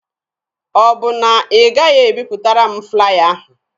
Ọ bụ na ị gaghị ebipụtara m flaya ahụ?